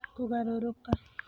Kũgarũrũka: